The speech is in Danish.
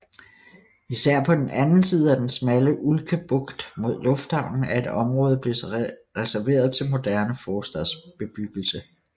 Især på den anden side af den smalle Ulkebugt mod lufthavnen er et område blevet reserveret til moderne forstadsbebyggelse